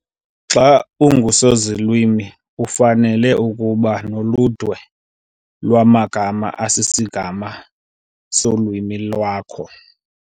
Xa ungusozilwimi ufanele ukuba noludwe lwamagama asisigama solwimi lwakho